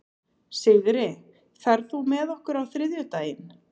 Sigri, ferð þú með okkur á þriðjudaginn?